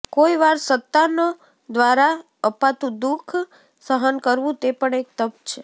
કોઈ વાર સંતાનો દ્વારા અપાતું દુઃખ સહન કરવું તે પણ એક તપ છે